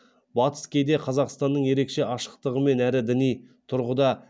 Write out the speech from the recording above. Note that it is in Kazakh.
батыс кейде қазақстанның ерекше ашықтығымен әрі діни тұрғыда